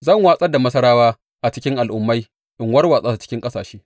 Zan watsar da Masarawa a cikin al’ummai in warwatsa su cikin ƙasashe.